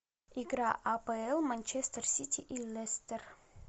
игра апл манчестер сити и лестер